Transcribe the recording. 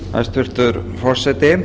hæstvirtur forseti